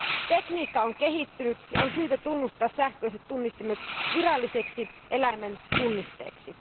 Tekniikka on kehittynyt, ja on syytä tunnustaa sähköiset tunnistimet viralliseksi eläimen tunnisteeksi.